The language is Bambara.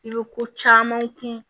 I bɛ ko caman kun